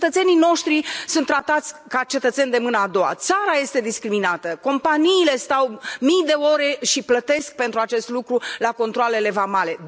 Cetățenii noștri sunt tratați ca cetățeni de mâna a doua, țara este discriminată, companiile stau mii de ore și plătesc pentru acest lucru la controalele vamale.